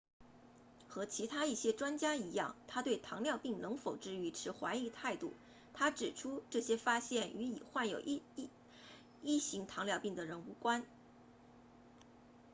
和其他一些专家一样他对糖尿病能否治愈持怀疑态度他指出这些发现与已患有1型糖尿病的人无关